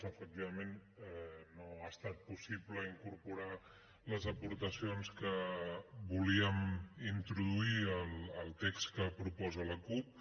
efectivament no ha estat possible incorporar les aportacions que volíem introduir al text que proposa la cup